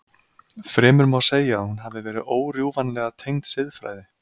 Fremur má segja að hún hafi verið órjúfanlega tengd siðfræði.